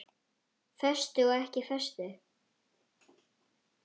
Föstu og ekki föstu.